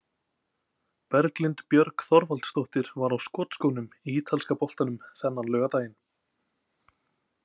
Berglind Björg Þorvaldsdóttir var á skotskónum í ítalska boltanum þennan laugardaginn.